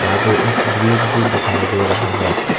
यहां पे एक ब्रिज भी दिखाई दे रहा है।